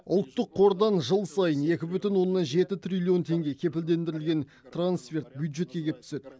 ұлттық қордан жыл сайын екі бүтін оннан жеті триллион теңге кепілдендірілген трансферт бюджетке кеп түседі